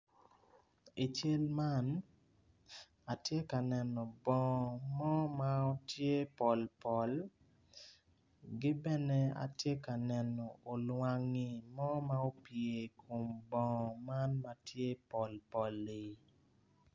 I cal man atye ka neno bongo mo ma tye polpol ki bene atye ka neno olwangi mo ma opye i kom bongo man ma tye polpol-li.